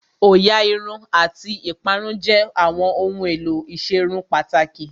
Òyà Irun àti ìparun jẹ́ àwọn ohun èlò ìserun pàtàkì